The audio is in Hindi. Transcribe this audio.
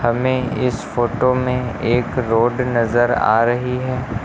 हमें इस फोटो में एक रोड नजर आ रही है।